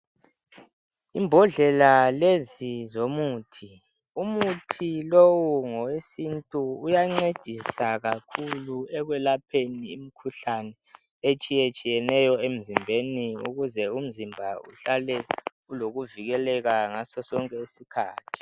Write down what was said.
Imbodlela lezi zomuthi, umuthi ngowesintu. Uyancedisa kakhulu ekwelapheni imikhuhlane etshiyetshiyeneyo emzimbeni ukuze umzimba uhlale ulokuvikeleka ngaso sonke iskhathi.